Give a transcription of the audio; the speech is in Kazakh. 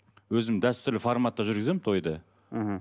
өзім дәстүрлі форматта жүргіземін тойды мхм